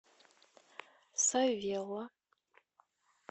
савелло